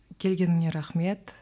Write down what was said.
келгеніңе рахмет